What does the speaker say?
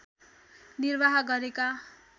निर्वाह गरेका